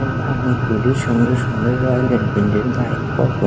এখানে অনেকগুলি সুন্দর সুন্দর রয়্যাল এনফিন্ড -এর বাইক পর পর---